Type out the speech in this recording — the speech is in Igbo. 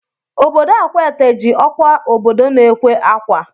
Obodo Akwaete ji ọkwa obodo na-ekwe akwa